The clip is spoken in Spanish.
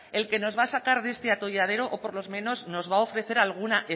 el que nos va a sacar de este atolladero o por lo menos nos va a ofrecer alguna